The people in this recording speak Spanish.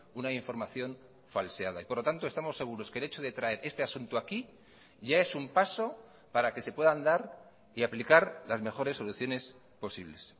una información falseada y por lo tanto estamos seguros que el hecho de traer este asunto aquí ya es un paso para que se puedan dar y aplicar las mejores soluciones posibles